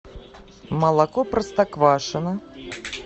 молоко простоквашино